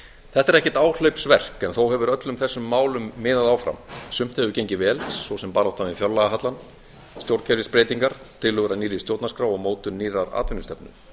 þetta er ekkert áhlaupsverk þó hefur öllum þessum málum miðað áfram sumt hefur gengið vel svo sem baráttan við fjárlagahallann stjórnkerfisbreytingar tillögur að nýrri stjórnarskrá og mótun nýrrar atvinnustefnu